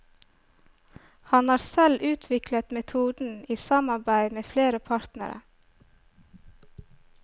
Han har selv utviklet metoden i samarbeid med flere partnere.